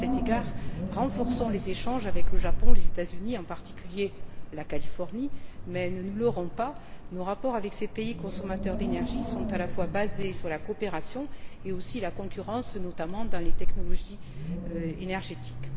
À cet égard, renforçons les échanges avec le Japon et les États Unis en particulier la Californie mais ne nous leurrons pas, nos rapports avec ces pays consommateurs d'énergie sont à la fois basés sur la coopération et aussi la concurrence, notamment dans les technologies énergétiques.